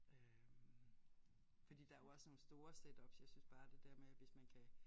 Øh fordi der jo også nogle store setups jeg synes bare det der med hvis man kan